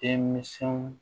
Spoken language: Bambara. Denminsɛnw